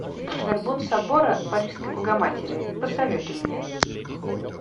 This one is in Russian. горбун собора парижской богоматери посоветуй мне